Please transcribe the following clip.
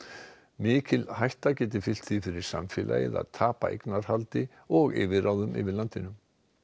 mikil hætta geti fylgt því fyrir samfélagið að tapa eignarhaldi og yfirráðum yfir landinu